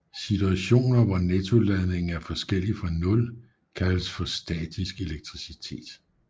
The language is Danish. Situationer hvor nettoladningen er forskellig fra nul kaldes for statisk elektricitet